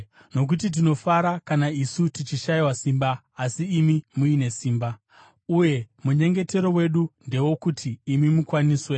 Nokuti tinofara kana isu tichishayiwa simba asi imi muine simba; uye munyengetero wedu ndewokuti imi mukwaniswe.